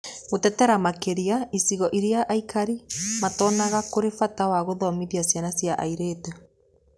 Gũtetera makĩria icigo iria aikari matonaga kũrĩ bata wa gũthomithia ciana cia airĩtu.